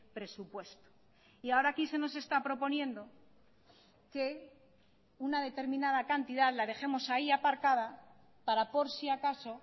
presupuesto y ahora aquí se nos está proponiendo que una determinada cantidad la dejemos ahí aparcada para por si acaso